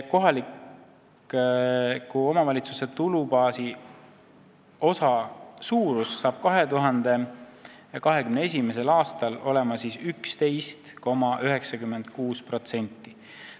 Kohaliku omavalitsuse tulubaasi osa suurus on seega 2021. aastal 11,96%.